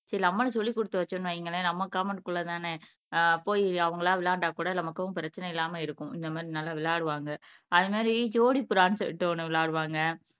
சரி நம்மளும் சொல்லிக் கொடுத்து வச்சோம்ன்னு வைங்களேன் நம்ம காம்பௌண்ட் குள்ளதானே அஹ் போயி அவங்களா விளையாண்டா கூட நமக்கும் பிரச்சனை இல்லாமல் இருக்கும் இந்த மாதிரி நல்லா விளையாடுவாங்க அது மாதிரி ஜோடி புறான்ட்டு ட்டு ஒண்ணு விளையாடுவாங்க